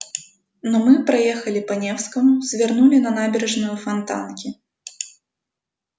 но мы проехали по невскому свернули на набережную фонтанки